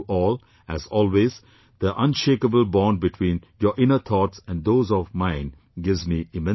As always, the unshakeable bond between your inner thoughts and those of mine gives me immense pleasure